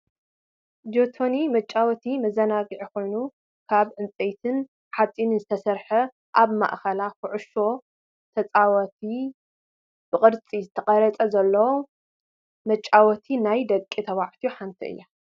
ጆተኒ መጫወቲን መዛናግዕን ኮይኑ ካብ ዕንፀይቲን ሓፂንን ዝተሰረሓት ኣብ ማእከላ ኩዕሾ ተፃወቲ ብቅርፂ ዝተቀረፀ ዘለዋ መጫወቲ ናይ ደቂ ተባዕትዮ ሓንቲ እያ።